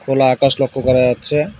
খোলা আকাশ লক্ষ করা যাচ্ছে।